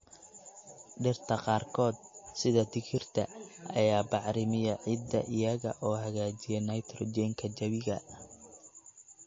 Dhirta qaarkood, sida digirta, ayaa bacrimiya ciidda iyaga oo hagaajiya nitrogen ka jawiga.